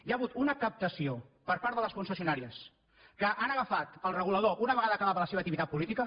hi ha hagut una captació per part de les concessionàries que han agafat el regulador una vegada acabava la seva activitat política